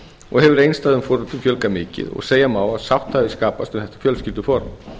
og hefur einstæðum foreldrum fjölgað mikið og segja má að sátt hafi skapast við þetta fjölskylduform